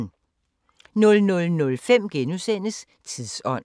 00:05: Tidsånd *